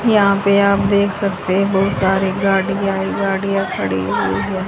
यहा पे आप देख सकते हो सारे गाड़िया ही गाड़िया खड़ी हुई है।